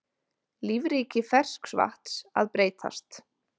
Lífríki ferskvatns að breytast